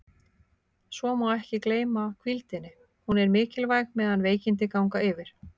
Svo má ekki gleyma hvíldinni, hún er mikilvæg meðan veikindi ganga yfir.